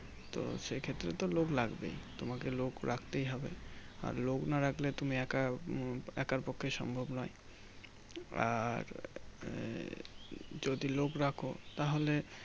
তো সেই ক্ষেত্রে তো লোক লাগবেই তোমাকে লক রক্তই হবে আর লোক না রাখলে তুমি একা উম একার পক্ষে সম্ভব নই আর এ যদি লোক রাখো তাহলে